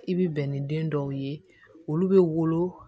I bi bɛn ni den dɔw ye olu bɛ wolo